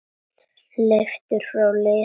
Leiftur frá liðnum tíma.